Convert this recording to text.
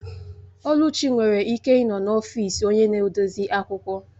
Oluchi nwere ike ịnọ n'ọfịs onye na-edozi akwụkwọ